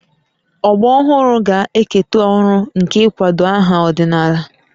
Ọgbọ ọhụrụ ga-eketa ọrụ nke ịkwado aha ọdịnala